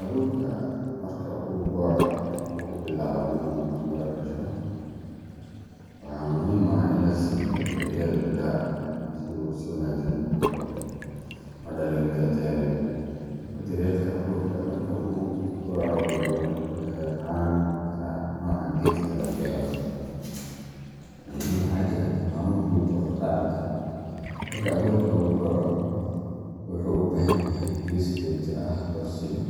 Abuurka marka uu boco oo uu bilaabo inuu miro dhasho, waxaa muhiim ah in la siiyo daryeel gaar ah si uu si wanaagsan u koro una dhaliyo miro tayo leh. Habka daryeelka abuurka marka uu boco wuxuu ku xirnaan karaa nooca geedka la beero, laakiin waxaa jira tilmaamo guud oo la raaci karo. Marka abuurka uu boco, wuxuu u baahan yahay biyo si joogto ah loo siiyo,